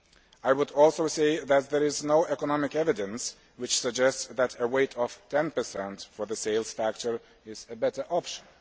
I would also say that there is no economic evidence which suggests that a weight of 10 for the sales factor is a better option.